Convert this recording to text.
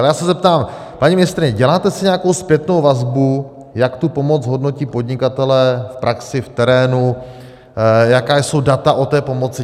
Ale já se zeptám: Paní ministryně, děláte si nějakou zpětnou vazbu, jak tu pomoc hodnotí podnikatelé v praxi, v terénu, jaká jsou data o té pomoci?